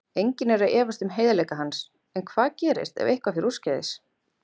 Enginn er að efast um heiðarleika hans en hvað gerist ef eitthvað fer úrskeiðis?